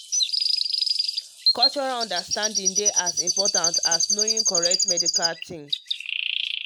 um cultural understanding dey as as important as knowing correct medical thing.